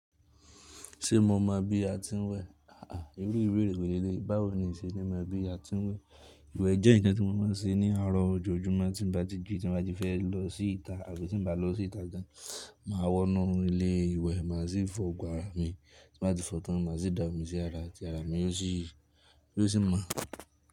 Ṣé mo mọ bí a ti ń wẹ? Irú ìbéèrè wo ni eléyìí. Báwo ni ìṣe ni mo mọ bí a ti ń wẹ. Iwẹ jẹ́ nkan tí mo máa ń ṣe ní àárọ̀ ojoojúmọ́ tí mo bá ti jí ti mo bá ti fẹ́ lọ síta àti tí n mo bá lọ síta dáadáa. Máa wọnú ilé ìwẹ̀, máa sì fọ àgọ́ ara mi, tí mo bá ti fọ tán, máa sì dà mí sí ara àti ara mi yóò sì, yóò sì mọ́.